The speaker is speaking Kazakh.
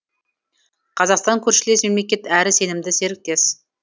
қазақстан көршілес мемлекет әрі сенімді серіктес